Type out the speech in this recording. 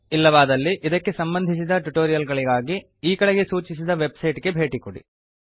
ಇಲ್ಲವಾದಲ್ಲಿ ಇದಕ್ಕೆ ಸಂಬಂಧಿಸಿದ ಟ್ಯುಟೋರಿಯಲ್ ಗಾಗಿ ಈ ಕೆಳಗೆ ಸೂಚಿಸಿದ ವೆಬ್ಸೈಟ್ ಗೆ ಭೇಟಿಕೊಡಿ